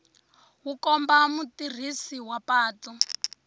wu komba mutirhisi wa patu